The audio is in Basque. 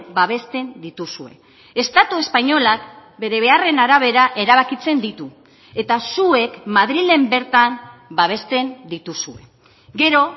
babesten dituzue estatu espainolak bere beharren arabera erabakitzen ditu eta zuek madrilen bertan babesten dituzue gero